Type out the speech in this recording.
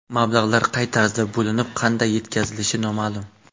Mablag‘lar qay tarzda bo‘linib, qanday yetkazilishi noma’lum.